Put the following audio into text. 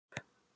Eva Ösp.